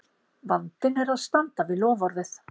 Vandinn er að standa við loforðið!